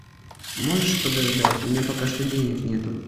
можешь подождать у меня пока что денег нету